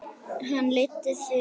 Hann leiddi Þuru og Maju.